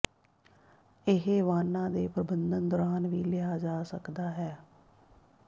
ਇਹ ਵਾਹਨਾਂ ਦੇ ਪ੍ਰਬੰਧਨ ਦੌਰਾਨ ਵੀ ਲਿਆ ਜਾ ਸਕਦਾ ਹੈ